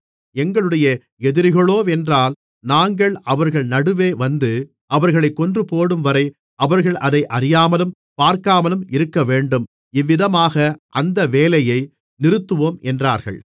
எங்களுடைய எதிரிகளோவென்றால் நாங்கள் அவர்கள் நடுவே வந்து அவர்களைக் கொன்றுபோடும்வரை அவர்கள் அதை அறியாமலும் பார்க்காமலும் இருக்கவேண்டும் இவ்விதமாக அந்த வேலையை நிறுத்துவோம் என்றார்கள்